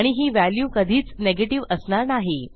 आणि ही व्हॅल्यू कधीच नेगेटिव्ह असणार नाही